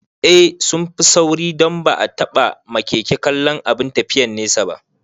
Eh sunfi sauri don ban taɓa ma keke kallon abin tafiyan nesa ba